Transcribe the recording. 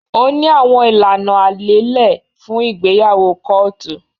Ó ní àwọn ìlànà aléélẹ̀ fún ìgbéyàwó kọ́ọ̀tù